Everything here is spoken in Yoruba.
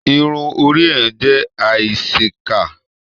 Irun orí èèyàn jẹ aísèéká.